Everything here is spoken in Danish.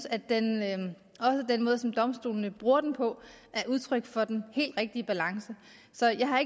at den måde som domstolene bruger den på er udtryk for den helt rigtige balance så jeg har